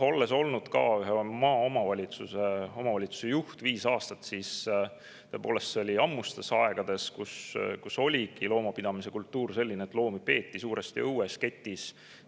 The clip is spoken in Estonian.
Olles olnud ka ühe omavalitsuse juht viis aastat, et tõepoolest, ammustel aegadel oligi loomapidamise kultuur selline, et koeri peeti enamasti õues ketis.